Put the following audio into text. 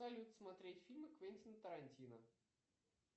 салют смотреть фильмы квентина тарантино